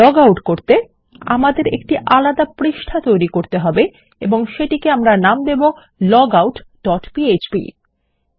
log out করতে আমাদের একটি আলাদা পৃষ্ঠা তৈরী করতে হবে এবং সেটিকে লগআউট ডট পিএচপি নাম সেভ করতে হবে